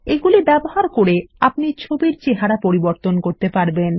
এগুলি ব্যবহার করে আপনি ছবির চেহারা পরিবর্তন করতে পারবেন